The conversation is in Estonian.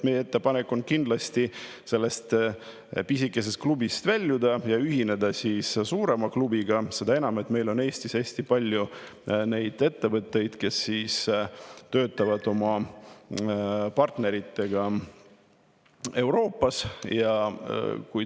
Meie ettepanek on sellest pisikesest klubist väljuda ja ühineda suurema klubiga, seda enam, et Eestis on hästi palju ettevõtteid, kelle partnerid on Euroopas.